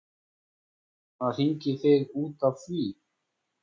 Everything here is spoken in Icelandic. Var hann að hringja í þig út af því?